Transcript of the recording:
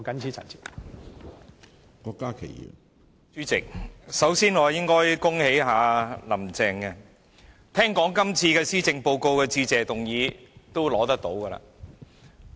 主席，我首先應該恭喜"林鄭"，因為聽說這份施政報告的致謝議案將會獲得通過。